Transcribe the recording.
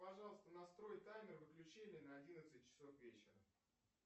пожалуйста настрой таймер выключения на одиннадцать часов вечера